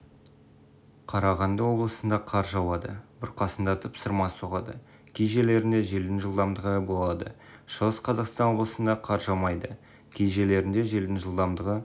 қарағанды облысында қар жауады бұрқасындатып сырма соғады кей жерлерінде желдің жылдамдығы болады шығыс қазақстан облысында қар жаумайды кей жерлерінде желдің жылдамдығы